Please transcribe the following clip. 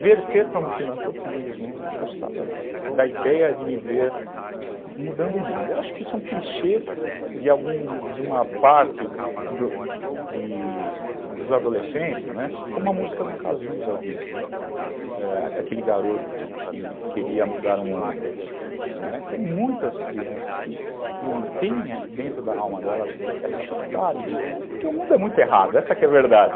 Verter para um filantropismo, eu gostava da ideia de me ver mudando o mundo. Eu acho que isso é um clichê de algum, de uma parte do de dos adolescentes, não é, como a música do Cazuza diz, né, aquele garoto que que queria mudar o mundo, né. Têm muitas crianças que tem dentro da alma delas essa vontade, porque o mundo é muito errado, essa que é a verdade.